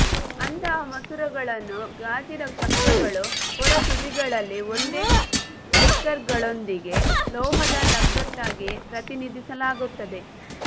ಅಂತಹ ಮಸೂರಗಳನ್ನು ಗಾಜಿನ ಚಕ್ರಗಳು ಹೊರ ತುದಿಗಳಲ್ಲಿ ಒಂದೇ ಸ್ಪೈಕ್ಗಳೊಂದಿಗೆ ಲೋಹದ ಲಗತ್ತಾಗಿ ಪ್ರತಿನಿಧಿಸಲಾಗುತ್ತದೆ